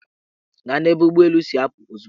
Gaa n'ebe ụgbọelu si apụ ozugbo!